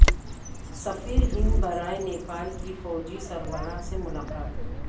سفیر ہند برائے نیپال کی فوجی سربراہ سے ملاقات